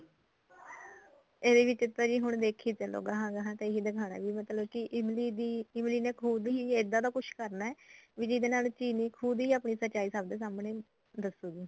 ਇਹਦੇ ਵਿੱਚ ਤਾਂ ਜੀ ਹੁਣ ਦੇਖੀ ਚਲੋ ਗਾਹ ਗਾਹ ਤੇ ਇਹੀ ਦਿਖਾਣਾ ਵੀ ਮਤਲਬ ਕਿ ਇਮਲੀ ਦੀ ਇਮਲੀ ਨੇ ਖੁਦ ਈ ਇੱਦਾਂ ਦਾ ਕੁੱਝ ਕਰਨਾ ਵੀ ਜਿਦੇ ਨਾਲ ਚਿਰੀ ਖੁਦ ਹੀ ਆਪਣੀ ਸਚਾਈ ਸਭ ਦੇ ਸਾਹਮਣੇ ਦੱਸੂਗੀ